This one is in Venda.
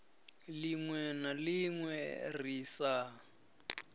linwe na linwe ri sa